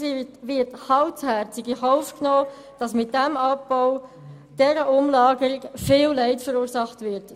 Es wird kaltherzig in Kauf genommen, dass mit diesem Abbau und mit dieser Umlagerung viel Leid verursacht wird.